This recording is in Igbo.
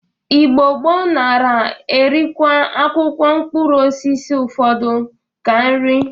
Igbo gboo nara erikwa akwụkwọ mkpụrụosisi ụfọdụ ka nri